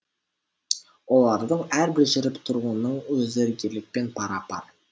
олардың әрбір жүріп тұруының өзі ерлікпен пара пар